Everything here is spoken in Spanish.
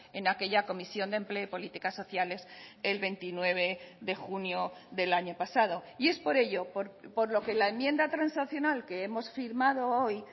en aquella comisión de empleo y políticas sociales el veintinueve de junio del año pasado y es por ello por lo que la enmienda transaccional que hemos firmado hoy